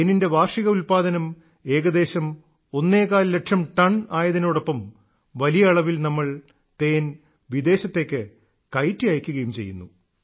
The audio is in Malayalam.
തേനിന്റെ വാർഷിക ഉല്പാദനം ഏകദേശം ഒന്നേകാൽ ലക്ഷം ടൺ ആയതിനോടൊപ്പം വലിയ അളവിൽ നമ്മൾ തേൻ വിദേശത്തേക്ക് കയറ്റി അയക്കുകയും ചെയ്യുന്നു